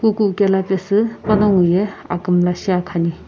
kukela pasii panagho ye akamla shekhani.